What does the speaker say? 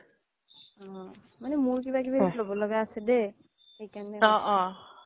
অ মানে মোৰ কিবা কিবি ল্'ব লগা আছে দেই সেইকাৰনে আৰু